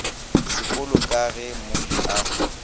seolo ka ge molli a